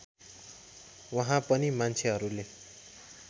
वहाँ पनि मान्छेहरूले